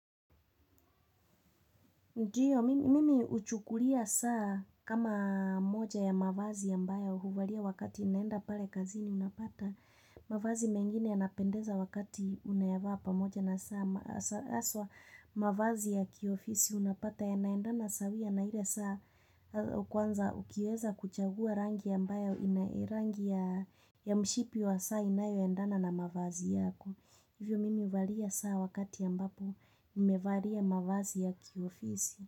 Ndio, mimi huchukulia saa kama moja ya mavazi ya mbaya huvalia wakati inaenda pale kazini unapata. Mavazi mengine anapendeza wakati unayavaa pamoja na saa aswa mavazi ya kiofisi unapata ya naendana sawa na hile saa ukuanza ukiweza kuchagua rangi ya mbaya ya mshipi wa saa inayo endana na mavazi yako. Hivyo mimi walia saa wakati ambapo imevalia mavazi ya kiofisi.